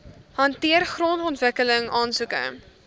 hanteer grondontwikkeling aansoeke